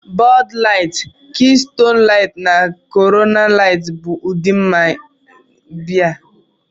Bud Light, Keystone Light, na Corona Light bụ ụdị biya